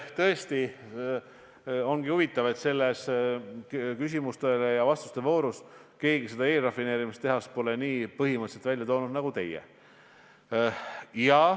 Tõesti, ongi huvitav, et selles küsimuste ja vastuste voorus pole keegi eelrafineerimistehast nii põhimõtteliselt välja toonud nagu teie.